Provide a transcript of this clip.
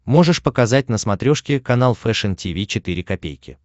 можешь показать на смотрешке канал фэшн ти ви четыре ка